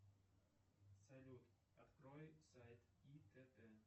салют открой сайт итт